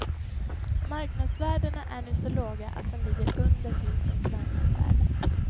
Marknadsvärdena är nu så låga att de ligger under husens marknadsvärde.